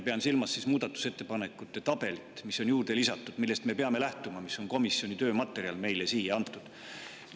Pean silmas muudatusettepanekute tabelit, mis on juurde lisatud, millest me peame lähtuma ja mis on komisjoni töömaterjal meile siia antud.